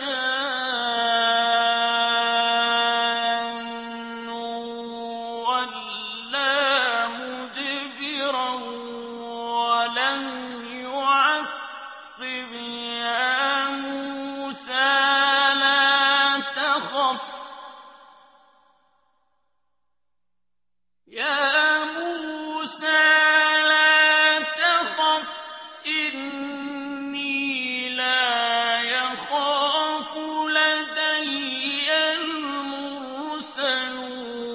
جَانٌّ وَلَّىٰ مُدْبِرًا وَلَمْ يُعَقِّبْ ۚ يَا مُوسَىٰ لَا تَخَفْ إِنِّي لَا يَخَافُ لَدَيَّ الْمُرْسَلُونَ